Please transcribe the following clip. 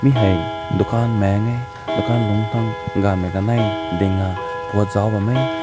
ne hai dukhan lunk tang kanai ding na put zao bam mae.